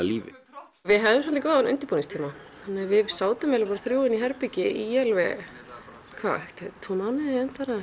lífi við höfðum góðan undirbúningstíma þannig að við sátum þrjú inn í herbergi í alveg tvo mánuði